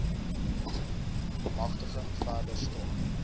magtiging verder staan